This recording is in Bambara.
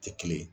Tɛ kelen ye